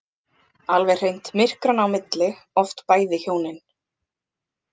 Alveg hreint myrkranna á milli, oft bæði hjónin.